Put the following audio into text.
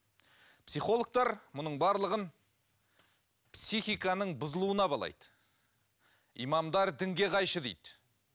психологтар мұның барлығын психиканың бұзылуына балайды имамдар дінге қайшы дейді